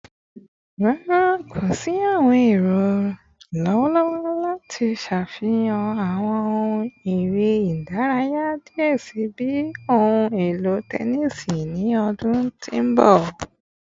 Rara, ko si awọn ero lọwọlọwọ lati ṣafihan awọn ohun ere idaraya diẹ sii bii ohun elo tẹnisi ni ọdun ti n bọ